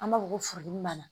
An b'a fɔ ko furudimi b'an na